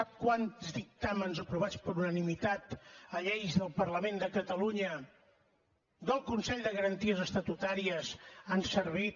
sap quants dictàmens aprovats per unanimitat a lleis del parlament de catalunya del consell de garanties estatutàries han servit